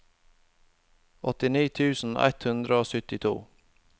åttini tusen ett hundre og syttito